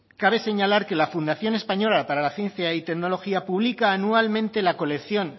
cabe señalar que la fundación española para la ciencia y tecnología publica anualmente la colección